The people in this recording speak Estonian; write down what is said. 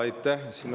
Aitäh!